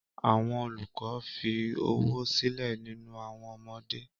Àwọn olùkọ́ fi ọ̀wọ̀ sílẹ̀ nínú àwọn ọmọdé.